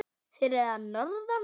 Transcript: Þeir eru að norðan.